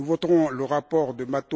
Nous voterons le rapport de M.